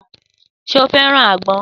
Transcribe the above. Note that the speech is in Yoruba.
Sé o feran àgbọn?